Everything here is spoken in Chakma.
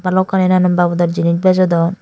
balokkani nanan babodor jinich bejodon.